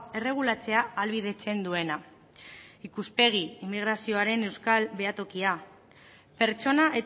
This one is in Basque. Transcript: erregulatzea ahalbidetzen duena ikuspegi immigrazioaren euskal behatokia pertsona